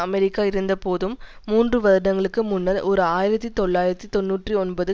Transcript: America இருந்தபோதும் மூன்று வருடங்களுக்கு முன்னர் ஓர் ஆயிரத்தி தொள்ளாயிரத்தி தொன்னூற்றி ஒன்பது